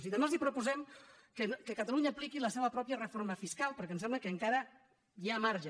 i també els proposem que catalunya apliqui la seva pròpia reforma fiscal perquè em sembla que encara hi ha marge